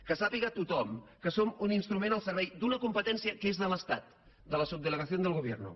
que sàpiga tothom que som un instrument al ser·vei d’una competència que és de l’estat de la subdele·gación del gobierno